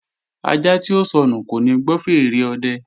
Ajá tí ó sọnù kò ní gbọ́ fèèrè ọ̀dẹ